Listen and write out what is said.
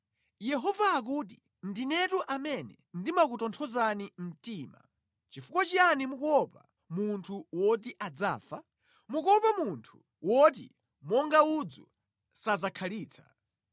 Yehova akuti, “Ndinetu amene ndimakutonthozani mtima. Chifukwa chiyani mukuopa munthu woti adzafa? Mukuopa munthu woti monga udzu sadzakhalitsa.